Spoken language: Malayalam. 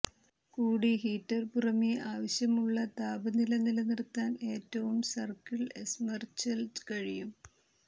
കൂടി ഹീറ്റർ പുറമേ ആവശ്യമുള്ള താപനില നിലനിർത്താൻ ഏറ്റവും സർക്കിൾ എസ്മര്ഛ് ൽ കഴിയും